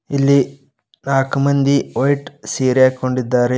ಇಲ್ಲಿ ನಾಕು ಮಂದಿ ವೈಟ್ ಸೀರೆ ಹಾಕ್ಕೊಂಡಿದ್ದಾರೆ.